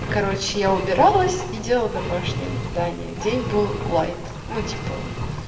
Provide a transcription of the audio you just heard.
и короче я убиралась и делала домашнее задание день был лаит ну типа